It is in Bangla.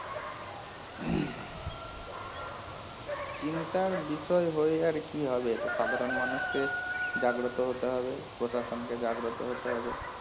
চিন্তার বিষয় হয়ে আর কি হবে সে সাধারণ মানুষকে জাগ্রত হতে হবে প্রশাসনকে জাগ্রত হতে হবে